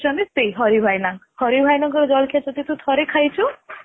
ସେ ହଉ ଛନ୍ତି ସେଇ ହରି ଭାଇନାହରି ଭାଇନାଙ୍କ ଜଳଖିଆ ଯଦି ତୁ ଥରେ ଖାଇଛୁ